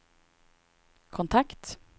kontakt